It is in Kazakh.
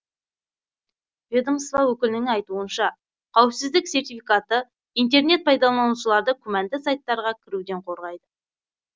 ведомство өкілінің айтуынша қауіпсіздік сертификаты интернет пайдаланушыларды күмәнді сайттарға кіруден қорғайды